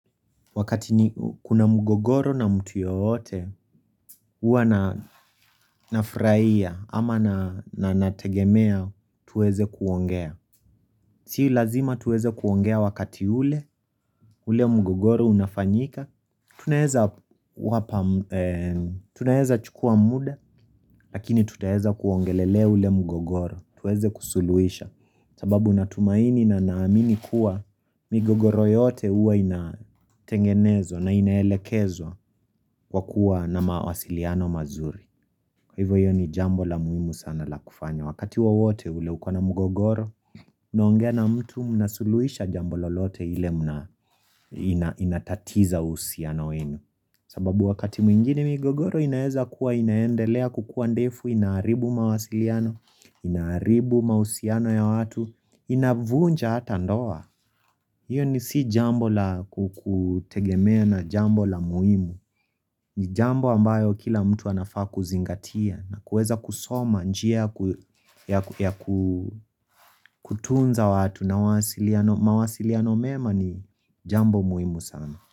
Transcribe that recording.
Wakati ni kuna mgogoro na mtu yoyote uwa na nafraia ama na nategemea tuweze kuongea Si lazima tuweze kuongea wakati ule, ule mgogoro unafanyika Tuna heza chukua muda lakini tuta heza kuongelele ule mgogoro tuweze kusuluisha sababu natumaini na naamini kuwa migogoro yote uwa inatengenezwa na inaelekezwa Kwa kuwa na mawasiliano mazuri Hivo hiyo ni jambo la muimu sana la kufanya Wakati wawote ule ukwana mgogoro unaongea na mtu mnasuluisha jambo lolote ile inatatiza usiano wenu sababu wakati mwingine mgogoro inaeza kuwa inaendelea kukuwa ndefu inaaribu mawasiliano Inaaribu mawusiano ya watu Inavunja hata ndoa hiyo ni si jambo la kutegemea na jambo la muimu ni jambo ambayo kila mtu anafaa kuzingatia na kuweza kusoma njia ya kutunza watu na mawasiliano mema ni jambo muimu sana.